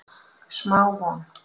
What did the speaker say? Smá von